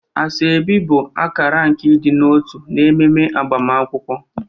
Asoebi bụ akara nke ịdị n'otu n'ememe agbamakwụkwọ.